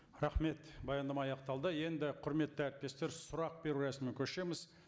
рахмет баяндама аяқталды енді құрметті әріптестер сұрақ беру рәсіміне көшеміз